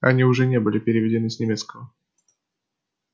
они уже не были переведены с немецкого